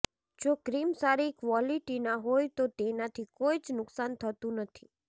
જો ક્રીમ સારી ક્વોલિટીનાં હોય તો તેનાથી કોઇ જ નુકસાન નથી થતું